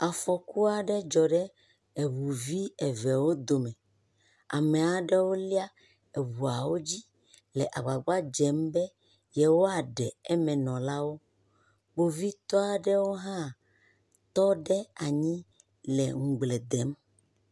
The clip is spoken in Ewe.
Afɔku aɖe dzɔ ɖe eŋuvi eve wo dome. Ame aɖewo lia eŋuawo dzi le agbagba dzem be yewɔa ɖe eme nɔ la wo. Kpovitɔ aɖewo hã tɔ ɖe anyi le ŋugblẽ dem.